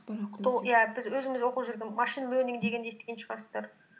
иә біз өзіміз оқып жүрген машин лернинг дегенді естіген шығарсыздар